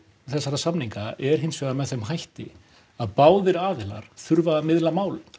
samninga er hins vegar með þeim hætti að báðir aðilar þurfa að miðla málum